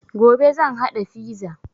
Gobe zan haɗa fiza